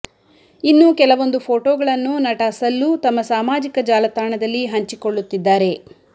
ಇನ್ನು ಕೆಲವೊಂದು ಫೋಟೋಗಳನ್ನು ನಟ ಸಲ್ಲು ತಮ್ಮ ಸಾಮಾಜಿಕ ಜಾಲತಾಣದಲ್ಲಿ ಹಂಚಿಕೊಳ್ಳುತ್ತಿದ್ದಾರೆ